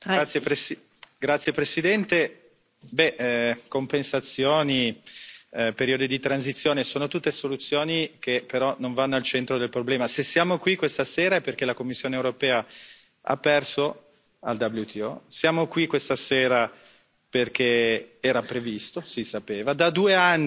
Signora Presidente, onorevoli colleghi, compensazioni e periodi di transizione sono tutte soluzioni che però non vanno al centro del problema. Se siamo qui questa sera è perché la Commissione europea ha perso al WTO. Siamo qui questa sera perché era previsto, si sapeva, da due anni